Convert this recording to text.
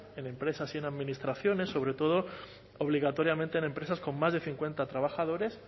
en empresas y en administraciones sobre todo obligatoriamente en empresas con más de cincuenta trabajadores